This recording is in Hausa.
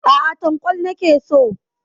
Aa, Tankwal nake so.